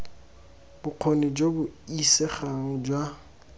bokgoni jo bo isegang jwa